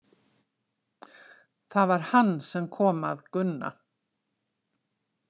Það var hann sem kom að Gunna.